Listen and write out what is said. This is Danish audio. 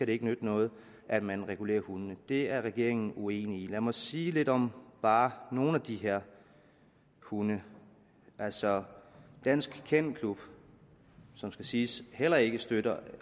det ikke nytte noget at man regulerer hundene det er regeringen uenig i lad mig sige lidt om bare nogle af de her hunde altså dansk kennel klub som skal siges heller ikke at støtte